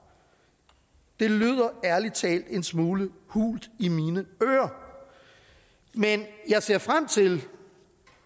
det lyder ærlig talt en smule hult i mine ører men jeg ser frem til